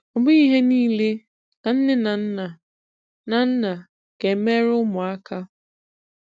ọbụghi ihe niile ka nne na nna na nna ga-emere ụmụaka